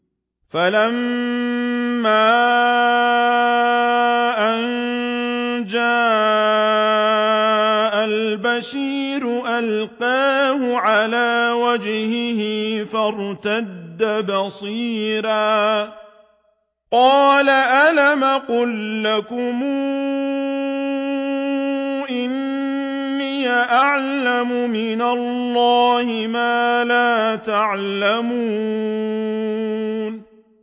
فَلَمَّا أَن جَاءَ الْبَشِيرُ أَلْقَاهُ عَلَىٰ وَجْهِهِ فَارْتَدَّ بَصِيرًا ۖ قَالَ أَلَمْ أَقُل لَّكُمْ إِنِّي أَعْلَمُ مِنَ اللَّهِ مَا لَا تَعْلَمُونَ